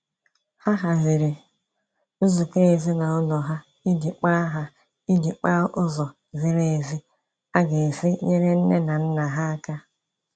Ha haziri nzukọ ezinaụlọ ha iji kpaa ha iji kpaa ụzọ ziri ezi a ga-esi nyere nne na nna ha aka